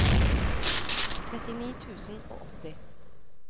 trettini tusen og åtti